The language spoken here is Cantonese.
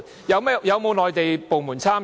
有否內地部門參與？